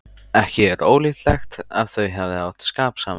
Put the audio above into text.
Ekki er ólíklegt að þau hafi átt skap saman.